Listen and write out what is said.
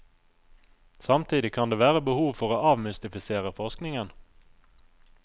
Samtidig kan det være behov for å avmystifisere forskningen.